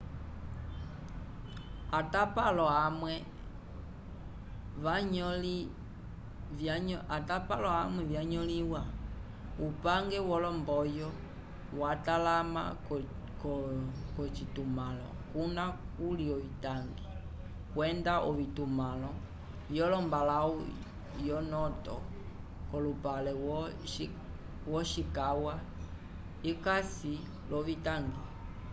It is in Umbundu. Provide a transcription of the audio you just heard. atapalo amwe vyanyõliwa upange wolomboyo vyatalamĩwa k'ovitumãlo kuna kuli ovitangi kwenda ovitumãlo vyolombalãwu yo noto k'olupale wo ishikawa ikasi l'ovitangi